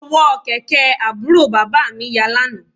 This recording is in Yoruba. Ọ̀wọ́ kẹ̀kẹ́ àbúrò bàbá mi ya lánàá